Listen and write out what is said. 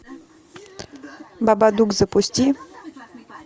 бабадук запусти